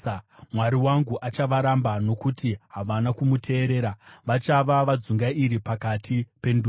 Mwari wangu achavaramba nokuti havana kumuteerera; vachava vadzungairi pakati pendudzi.